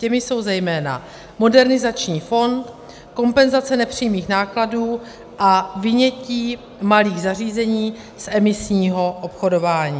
Těmi jsou zejména modernizační fond, kompenzace nepřímých nákladů a vynětí malých zařízení z emisního obchodování.